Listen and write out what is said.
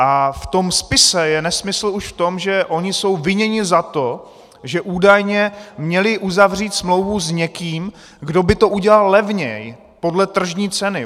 a v tom spise je nesmysl už v tom, že oni jsou viněni za to, že údajně měli uzavřít smlouvu s někým, kdo by to udělal levněji, podle tržní ceny.